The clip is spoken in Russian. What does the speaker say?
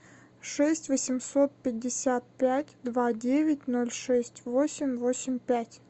шесть восемьсот пятьдесят пять два девять ноль шесть восемь восемь пять